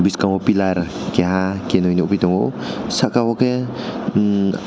bwkango pillar kiah kaini nugui tongo saka o ke hmm.